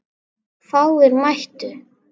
Fáir mættu.